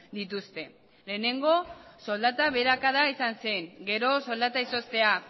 dituzte lehenengo soldata beherakada izan zen gero soldata izoztea